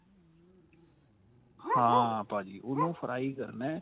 ਹਾਂ ਭਾਜੀ ਉਹਨੂੰ fry ਕਰਨਾ